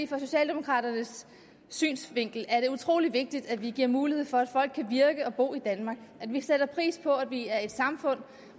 fra socialdemokraternes synsvinkel er det utrolig vigtigt at vi giver mulighed for at folk kan virke og bo i danmark at vi sætter pris på at vi er et samfund